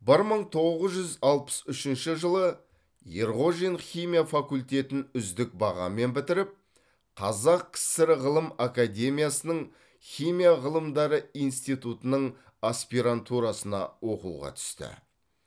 бір мың тоғыз жүз алпыс үшінші жылы ерғожин химия факультетін үздік бағамен бітіріп қазақ кср ғылым академиясының химия ғылымдары институтының аспирантурасына оқуға түсті